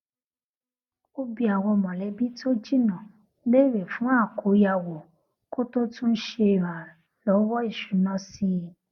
ó bi àwọn mọlẹbí tó jìnnà léèrè fún àkóyawọ kó tó tún ṣe ìràlọwọ ìṣúná sí i